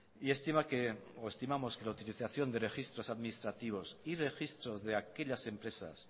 y estimamos que la utilización de registros administrativos y registros de aquellas empresas